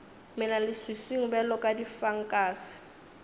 mela leswiswing bjalo ka difankase